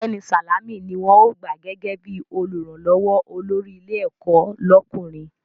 Ọ̀gbẹ́ni Sàlámì ni wọ́n ó gbà gẹ́gẹ́ bí Olùrànlọ́wọ́ olórí ilé ẹ̀kọ́ lọ́kùnrin